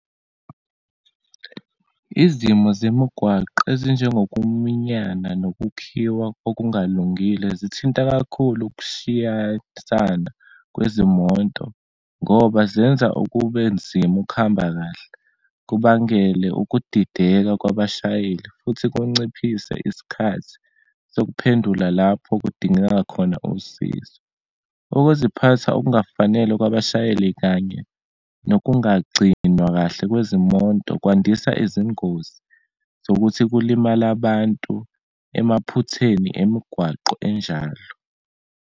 Izimo zemigwaqo ezinjengokuminyana nokukhiwa okungalungile, zithinta kakhulu ukushiyasana kwezimoto ngoba zenza ukube nzima ukuhamba kahle, kubangele ukudideka kwabashayeli, futhi kunciphise isikhathi sokuphendula lapho kudingeka khona usizo. Ukuziphatha okungafanele kwabashayeli, kanye nokungagcinwa kahle kwezimonto kwandisa izingozi zokuthi kulimale abantu emaphutheni emigwaqo enjalo.